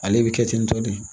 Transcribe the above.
Ale bɛ kɛ ten tɔ de